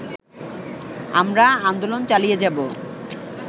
আমরা আন্দোলন চালিয়ে যাব